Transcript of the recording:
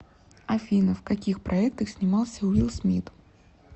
афина в каких проектах снимался уилл смит